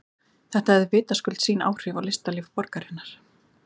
Þetta hafði vitaskuld sín áhrif á listalíf borgarinnar.